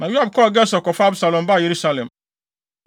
Na Yoab kɔɔ Gesur kɔfaa Absalom baa Yerusalem.